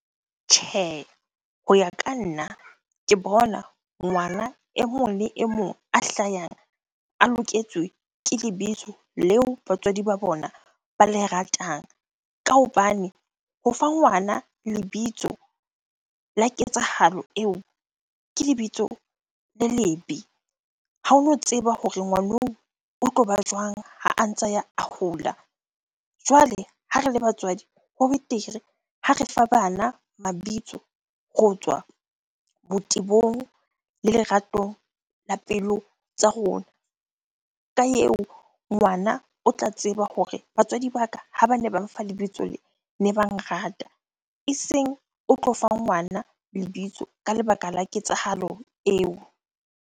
Tjhe, ho ya ka nna ke bona ngwana e mong le e mong a hlayang a loketswe ke lebitso leo batswadi ba bona ba le ratang. Ka hobane ho fa ngwana lebitso la ketsahalo eo, ke lebitso le lebe. Ha ono tseba hore ngwaneo o tloba jwang ha a ntsa ya a hola. Jwale ha re le batswadi ho betere ha re fa bana mabitso ho tswa botebong le lerato la pelo tsa rona. Ka eo ngwana o tla tseba hore batswadi ba ka ha bane ba mfa lebitso lee, ne ba nrata. Eseng o tlo fa ngwana lebitso ka lebaka la ketsahalo eo.